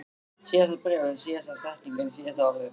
Síðasta bréfið, síðasta setningin, síðasta orðið.